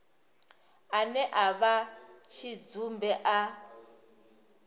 ane a vha tshidzumbe a